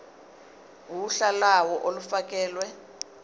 uhla lawo olufakelwe